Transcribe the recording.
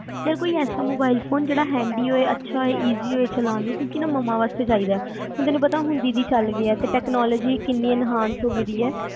ਯਾਰ ਕੋਈ ਐਸਾ ਮੋਬਾਈਲ ਫੋਨ ਹੇਡੀ ਹੋਵੈ ਅੱਛਾ ਹੋਵੇ Easy ਚਲਾਨ ਚ ਕਿਉਕਿ ਨਾ ਮਮਾਂ ਵਾਸਤੇ ਚਾਹੀਦਾ ਤੁਹਾਨੂੰ ਪਤਾ ਹੁਣ ਦੀਦੀ ਚਲਗੇ ਆ ਤੇ technology ਕਿੰਨੀ enhance ਹੋ ਗਈ ਆ